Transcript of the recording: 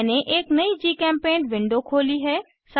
मैंने एक नयी जीचेम्पेंट विंडो खोली है